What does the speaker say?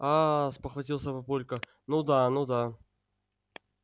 аа спохватился папулька ну да ну да